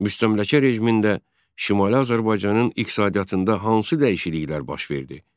Müstəmləkə rejimində Şimali Azərbaycanın iqtisadiyyatında hansı dəyişikliklər baş verdi?